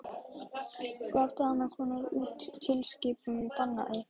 Gaf Danakonungur út tilskipun og bannaði